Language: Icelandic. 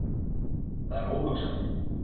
Það er óhugsandi